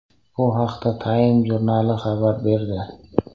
Bu haqda Time jurnali xabar berdi.